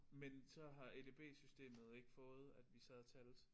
Men så har edb-systemet ikke fået at vi sad og talte